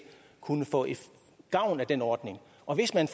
kunne få gavn af den ordning og hvis man